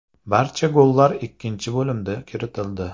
Barcha gollar ikkinchi bo‘limda kiritildi.